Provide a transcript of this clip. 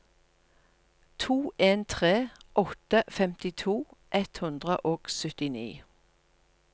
to en tre åtte femtito ett hundre og syttini